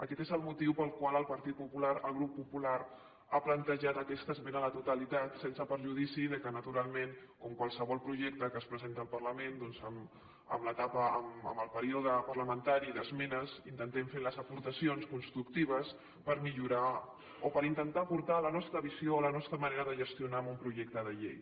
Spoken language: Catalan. aquest és el motiu pel qual el partit popular el grup popular ha plantejat aquesta esmena a la totalitat sense perjudici que naturalment com qualsevol projecte que es presenta al parlament doncs en el període parlamentari d’esmenes intentem fer les aportacions constructives per millorar o per intentar aportar la nostra visió o la nostra manera de gestionar a un projecte de llei